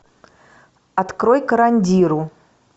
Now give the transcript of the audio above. открой карандиру